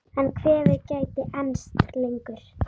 En kvefið gæti enst lengur.